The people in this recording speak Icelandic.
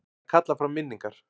Að kalla fram minningar